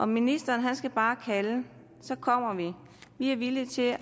ministeren skal bare kalde så kommer vi vi er villige til